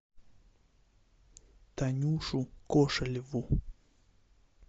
танюшу кошелеву